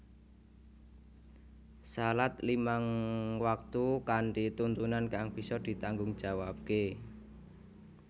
Salat limang waktu kanthi tuntunan kang bisa ditanggungjawabke